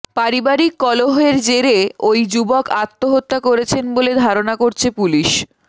পারিবারিক কলহের জেরে ওই যুবক আত্মহত্যা করেছেন বলে ধারণা করছে পুলিশ